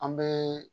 An bɛ